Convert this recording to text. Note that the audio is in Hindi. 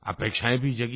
अपेक्षायें भी जगीं